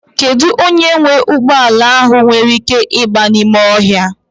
Kedụ onye nwe ụgbọala ahụ nwere ị́ké ịgba n'ime ọhịa?